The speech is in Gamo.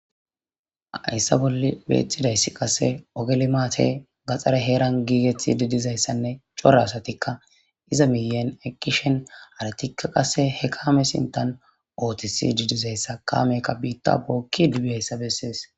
Haysa bollan betizaysa kasse ogge limate gaxare heran gigetidi dizaysanne c'ora asatikka iza miyan eqqiza haratikka qasse he kame miyan oththidi diza he kamekka besses.